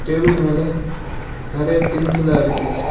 Table மேல நெறைய திங்ஸ்செல்லா இருக்கு.